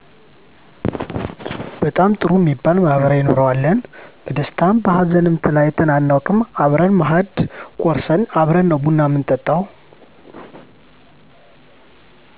በጣም ጥሩ እሚባል ማህበራዊ ኑሮ አለን በደስታም በሀዘንም ተለያይተን አናውቅም አብረን ማእድ ቆርስን አብረን ነው ቡና ምንጠጣው